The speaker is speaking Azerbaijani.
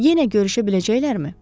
Yenə görüşə biləcəklərmi?